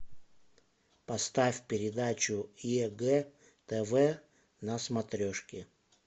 поставь передачу егэ тв на смотрешке